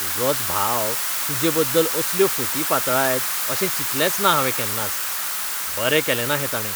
तुजोच भाव तुजेबद्दल असल्यो फटी पातळायत अशें चिंतलेंच ना हावें केन्नाच. बरें केलेंना हें ताणें.